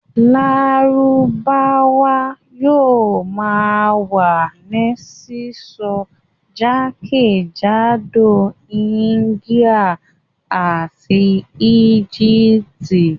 Lárúbáwá yóò ma wà ní sísọ ní jákèjádò ní Algeria àti Egypt